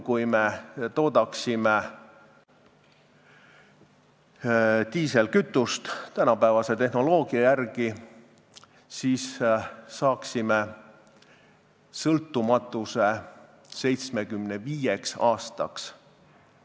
Kui me toodaksime diislikütust tänapäevase tehnoloogia järgi, siis saaksime selle abil sõltumatuse 75 aastaks.